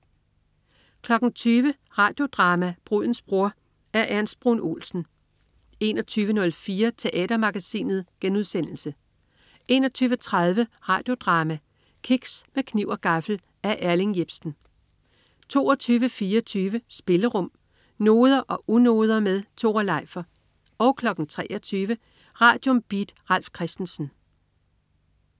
20.00 Radio Drama: Brudens bror. Af Ernst Bruun Olsen 21.04 Teatermagasinet* 21.30 Radio Drama: Kiks med kniv og gaffel. Af Erling Jepsen 22.24 Spillerum. Noder og unoder med Tore Leifer 23.00 Radium. Beat. Ralf Christensen